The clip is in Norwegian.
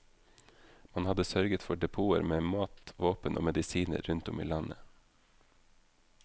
Man hadde sørget for depoter med mat, våpen og medisiner rundt om i landet.